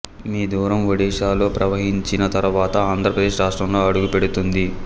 మీ దూరం ఒడిషాలో ప్ర్రవహించిన తర్వాత ఆంధ్రప్రదేశ్ రాష్ట్రంలో అడుగుపెడుతుంది